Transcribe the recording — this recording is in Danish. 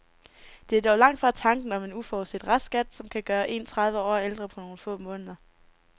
Det er dog langt fra alene tanken om en uforudset restskat, som kan gøre en tredive år ældre på nogle få måneder.